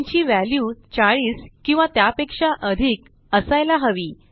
न् ची व्हॅल्यू 40 किंवा त्यापेक्षा अधिक असायला हवी